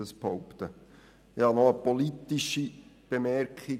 Ich habe auch eine politische Bemerkung: